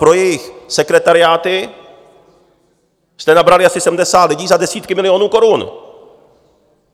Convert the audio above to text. Pro jejich sekretariáty jste nabrali asi 70 lidí za desítky milionů korun.